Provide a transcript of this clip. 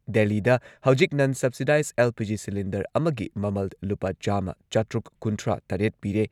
ꯗꯦꯜꯂꯤꯗ ꯍꯧꯖꯤꯛ ꯅꯟ ꯁꯕꯁꯤꯗꯥꯏꯖ ꯑꯦꯜ.ꯄꯤ.ꯖꯤ. ꯁꯤꯂꯤꯟꯗꯔ ꯑꯃꯒꯤ ꯃꯃꯜ ꯂꯨꯄꯥ ꯆꯥꯝꯃ ꯆꯥꯇ꯭ꯔꯨꯛ ꯀꯨꯟꯊ꯭ꯔꯥꯇꯔꯦꯠ ꯄꯤꯔꯦ꯫